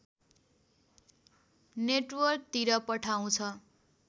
नेटवर्कतिर पठाउँछ